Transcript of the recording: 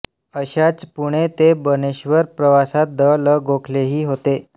अशाच पुणे ते बनेश्वर प्रवासात द ल गोखलेहि होते